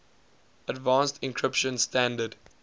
advanced encryption standard